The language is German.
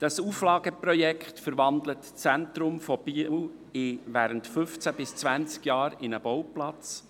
Das Auflageprojekt verwandelt das Zentrum von Biel während fünfzehn bis zwanzig Jahren in einen Bauplatz.